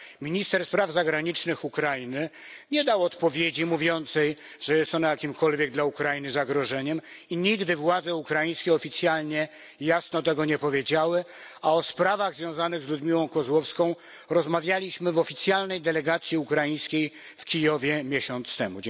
minister spraw zagranicznych Ukrainy nie dał odpowiedzi mówiącej, że jest ona jakimkolwiek dla Ukrainy zagrożeniem i nigdy władze ukraińskie oficjalnie jasno tego nie powiedziały, a o sprawach związanych z Ludmiłą Kozłowską rozmawialiśmy w oficjalnej delegacji ukraińskiej w Kijowie miesiąc temu.